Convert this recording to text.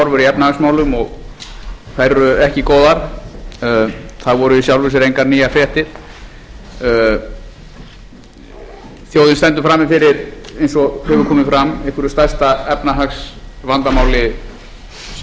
efnahagsmálum og þær eru ekki góðar það voru í sjálfu sér engar nýjar fréttir þjóðin stendur frammi fyrir eins og hefur komið fram einhverju stærsta efnahagsvandamáli sem nokkur þjóð